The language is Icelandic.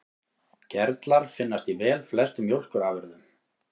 Gerlar finnast í velflestum mjólkurafurðum.